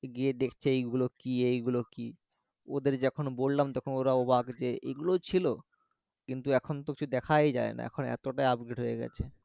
গিয়ে দেখতে এই গুলো কি এই গুলো কি ওদের যখন বললাম তখন ওরা অবাক যে এই গুলোও ছিল কিন্তু এখনতো কিছু দেখাই যায় না এখন এতটাই upgrade হয়ে গেছে